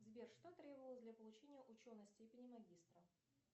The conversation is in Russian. сбер что требовалось для получения ученой степени магистра